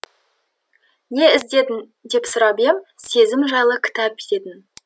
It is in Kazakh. не іздедің деп сұрап ем сезім жайлы кітап дедің